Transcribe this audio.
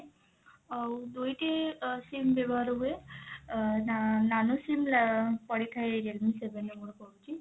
ଆଉ ଦୁଇଟି ଅ sim ବ୍ୟବହାର ହୁଏ ଅ ନା nano sim ପଡିଥାଏ realme seven ରେ ମୋର ପଡିଛି।